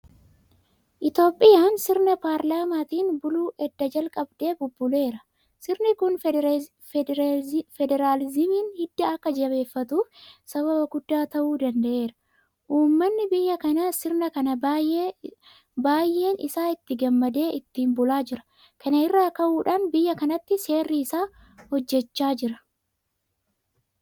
Itoophiyaan sirna Paarlaamentariitiin buluu edda jalqabdee bubbuleera. Sirni kun fediraalizimiin hidda akka jabeeffatuuf sababa guddaa ta'uu danda'eera. Uummanni biyya kanaas sirna kana baay'een isaa itti gammadee ittiin bulaa jira. Kana irraa ka'uudhaan biyya kanatti seerri isaa hojjechaa jira.